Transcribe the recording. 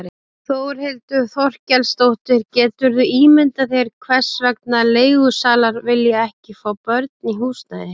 Þórhildur Þorkelsdóttir: Geturðu ímyndað þér hvers vegna leigusalar vilja ekki fá börn í húsnæði?